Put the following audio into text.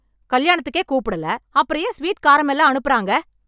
கல்யாணத்துக்கே கூப்டல... அப்றம் ஏன் ஸ்வீட், காரம் எல்லாம் அனுப்பறாங்க...